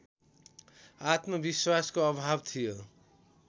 आत्मविश्वासको अभाव थियो